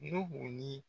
N'u ni